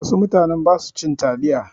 Wasu mutanen ba su cin taliya.